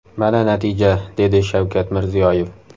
Mana natija”, dedi Shavkat Mirziyoyev.